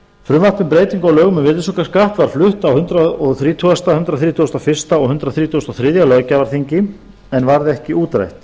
um breytingu á lögum um virðisaukaskatt var flutt á hundrað þrítugasta hundrað þrítugasta og fyrsta og hundrað þrítugasta og þriðja löggjafarþingi en varð ekki útrædd